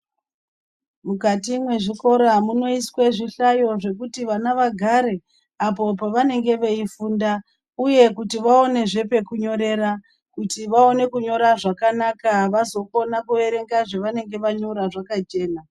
Mukati mwezvikora munoiswe zvihlayo zvekuti vana vagare apo pavanenge veifunda. Uye kuti vaonezve pekunyorera kuti vaone kunyora zvakanaka vazokona kuerenga zvanenge vanyora zvakachena.